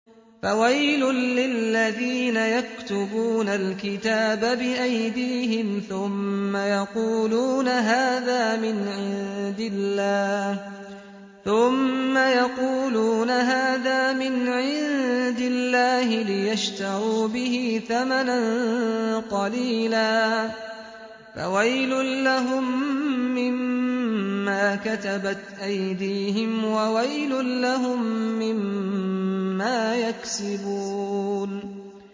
فَوَيْلٌ لِّلَّذِينَ يَكْتُبُونَ الْكِتَابَ بِأَيْدِيهِمْ ثُمَّ يَقُولُونَ هَٰذَا مِنْ عِندِ اللَّهِ لِيَشْتَرُوا بِهِ ثَمَنًا قَلِيلًا ۖ فَوَيْلٌ لَّهُم مِّمَّا كَتَبَتْ أَيْدِيهِمْ وَوَيْلٌ لَّهُم مِّمَّا يَكْسِبُونَ